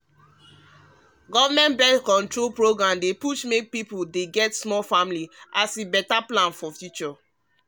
um government born-control program um dey push make people get small family um as better plan for future.